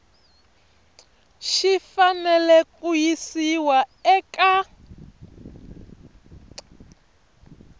xi fanele ku yisiwa eka